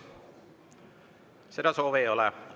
Seda soovi ei ole.